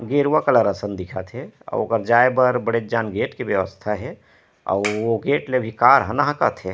गेरुवा colour असन दिखत हे अउ ओकर जाए बर बड़ेक जन गेट के व्यवस्था हे अउ ओ गेट ले अभी कार हा नाहकत हे।